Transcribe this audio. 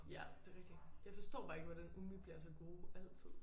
Ja det rigtigt jeg forstår bare ikke hvordan umbi bliver så gode altid